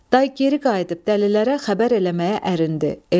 Day geri qayıdıb dəlilərə xəbər eləməyə ərinib.